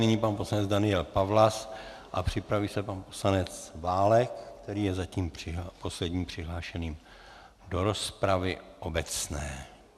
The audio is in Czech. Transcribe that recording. Nyní pan poslanec Daniel Pawlas a připraví se pan poslanec Válek, který je zatím posledním přihlášeným do rozpravy obecné.